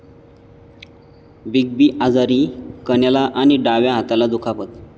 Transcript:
big B आजारी, कण्याला आणि डाव्या हाताला दुखापत